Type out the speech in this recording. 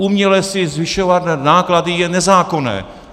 Uměle si zvyšovat náklady je nezákonné.